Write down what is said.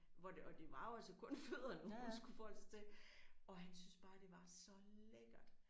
Hvor det og det var jo altså kun fødderne hun skulle forholde sig til og han syntes bare det var så lækkert